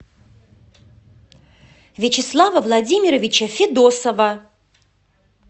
вячеслава владимировича федосова